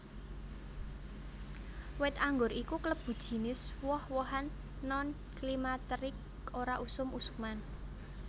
Wit anggur iku klebu jinis woh wohan non climacteric ora usum usuman